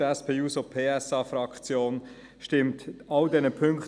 Die SP-JUSO-PSAFraktion stimmt allen Ziffern zu.